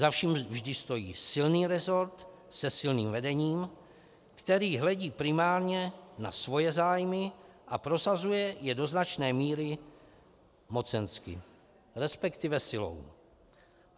Za vším vždy stojí silný resort se silným vedením, který hledí primárně na svoje zájmy a prosazuje je do značné míry mocensky, respektive silou.